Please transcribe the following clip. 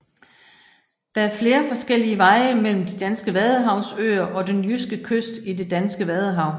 Der er flere forskellige veje mellem de danske vadehavsøer og den jyske kyst i det danske vadehav